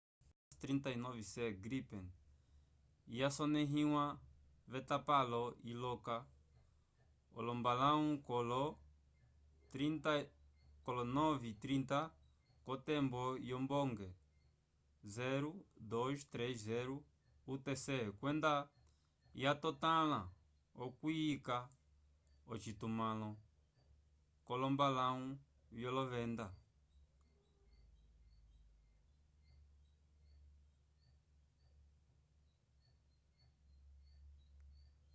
jas 39c gripen yasonẽhiwa v’etapalo iloka olombalãwu kolo 9:30 k’otembo yombonge 0230 utc kwenda yatotãla okuyika ocitumãlo c’olombalãwu vyolovenda